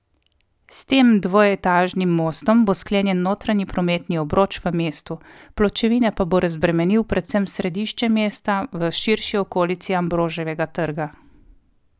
S tem dvoetažnim mostom bo sklenjen notranji prometni obroč v mestu, pločevine pa bo razbremenil predvsem središče mesta, v širši okolici Ambroževega trga.